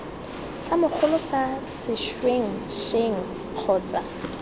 sa mogolo sa sešwengšeng kgotsa